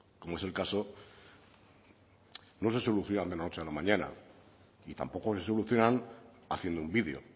como es el caso no se solucionan de la noche a la mañana y tampoco se solucionan haciendo un vídeo